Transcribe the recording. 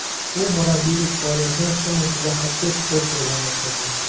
U murabbiylik faoliyatini chim ustida xokkey sport turidan boshlagan.